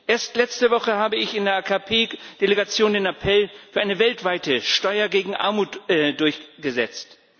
Erst letzte Woche habe ich in der AKP Delegation den Appell für eine weltweite Steuer gegen Armut durchgesetzt.